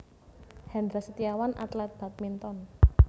Hendra Setiawan atlet badminton